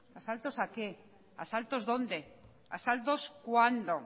asaltos a qué asaltos dónde asaltos cuándo